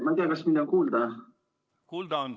Ma ei tea, kas mind on kuulda.